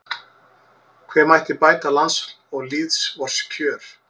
Hve mætti bæta lands og lýðs vors kjör